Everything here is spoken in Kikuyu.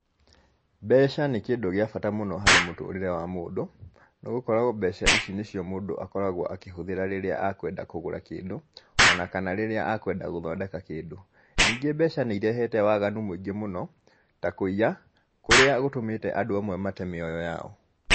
Mbeca nĩ kĩndũ gĩa bata mũno harĩ mũtũrĩre wa mũndũ, nĩ gũkorwo mbeca ici nĩ cio mũndũ akoragwo akĩhũthĩra rĩrĩa akwenda kũgũra kĩndũ, o na kana rĩrĩa akwenda gũthondeka kĩndũ. Ningĩ mbeca nĩirehete waganu mũingĩ mũno, ta kũiya, kũrĩa gũtũmĩte andũ amwe mate mĩoyo yao.